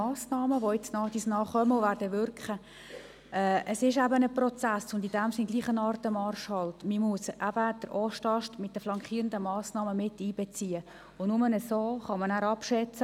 Es ist eben nicht eine ausschliesslich neutrale, sondern auch eine emotionale Sache.